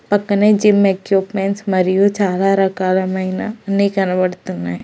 పక్కనే gym equipments మరియు చాలా రకాలమైన అన్ని కనబడుతున్నాయి.